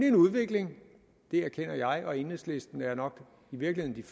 en udvikling det erkender jeg og enhedslisten er nok i virkeligheden